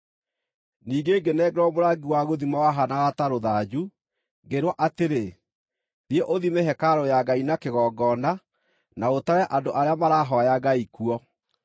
Ningĩ ngĩnengerwo mũrangi wa gũthima wahaanaga ta rũthanju, ngĩĩrwo atĩrĩ, “Thiĩ ũthime hekarũ ya Ngai na kĩgongona, na ũtare andũ arĩa marahooya Ngai kuo.